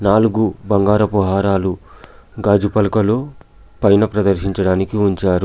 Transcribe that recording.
నాలుగు బంగారపు హారాలు గాజు పలకలు పైన ప్రదర్శించడానికి ఉంచారు.